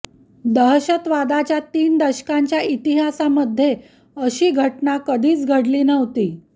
दहशतवादाच्या तीन दशकांच्या इतिहासामध्ये अशी घटना कधीच घडली नव्हती